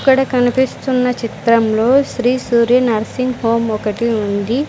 ఇక్కడ కనిపిస్తున్న చిత్రంలో శ్రీ సూర్య నర్సింగ్ హోమ్ ఒకటి ఉంది.